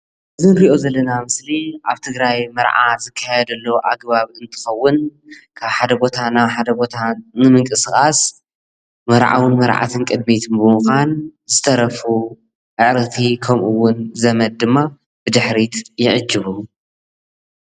እዙይ እንሪእዮ ዘለና ምሰሊ ኣብ ትግራይ መርዓ ዝካየደሉ ኣግባብ እንትከውን ካብ ሓደ ቦታ ናብ ሓደ ቦታ ብምንቅስቃስ መርዓት መርዓውን ቅዲሚት ብምካን ዝተረፉ ኣዕርክቲን ከምኡውን ዘመድ ድማ ብድሕሪት ይዕጅቡ።